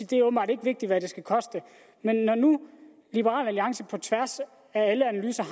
det er åbenbart ikke vigtigt hvad den skal koste men når nu liberal alliance på tværs af alle analyser